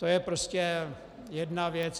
To je prostě jedna věc.